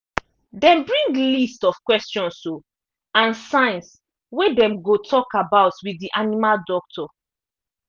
them bring list of questions o and signs wey dem go talk about with the animal doctor